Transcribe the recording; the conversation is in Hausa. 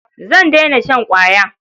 Zan daina shan ƙwaya.